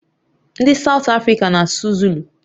Ndị South Africa na-asụ Zulu